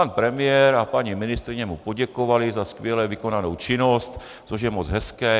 Pan premiér a paní ministryně mu poděkovali za skvěle vykonanou činnost, což je moc hezké.